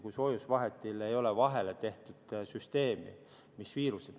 Kui soojusvahetile ei ole vahele tehtud süsteemi, et viirused ...